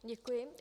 Děkuji.